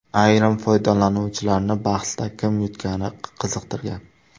Ayrim foydalanuvchilarni bahsda kim yutgani qiziqtirgan.